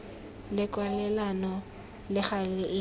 le kwalelano le gale e